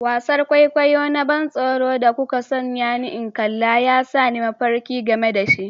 Wasar kwaikwayo na ban tsoron da kuka sanya in kalla ya sa ni mafarki ga me da shi.